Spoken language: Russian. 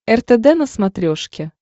ртд на смотрешке